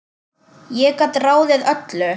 Ég gat ráðið öllu.